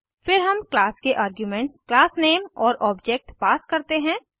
फिर हम क्लास के आर्ग्यूमेंट्स class name और ऑब्जेक्ट पास करते हैं